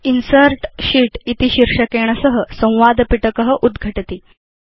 insert sheet शीर्षकेण सह संवाद पिटक उद्घटति